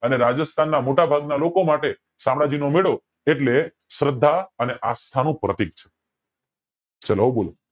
અને રાજસ્થાન ના મોટા ભાગના લોકો માટે સામ્રાજ્યનો મેળો એટલે શ્રદ્ધા અને આસ્થાનું પ્રતીક છે ચલો હવે બોલો